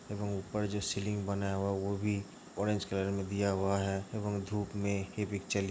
ऊपर जो सीलिंग बनाया हुआ है वो भी ऑरेंज कलर में दिया हुआ है एवं धूप में --